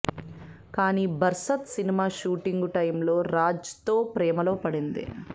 కానీ Barsaat cinema shooting టైములో రాజ్తో ప్రేమలో పడింది